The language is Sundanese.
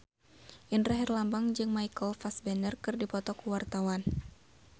Indra Herlambang jeung Michael Fassbender keur dipoto ku wartawan